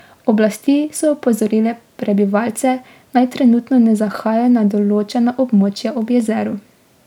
Oblasti so opozorile prebivalce, naj trenutno ne zahajajo na določena območja ob jezeru.